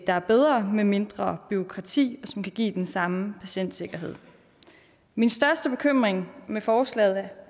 der er bedre og med mindre bureaukrati som kan give den samme patientsikkerhed min største bekymring i med forslaget